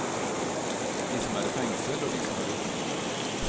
De som er i fengsel og de som er utenfor.